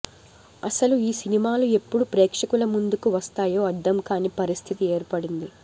అసలు ఈ సినిమాలు ఎప్పుడు ప్రేక్షకుల ముందుకు వస్తాయో అర్ధం కానీ పరిస్థితి ఏర్పడింది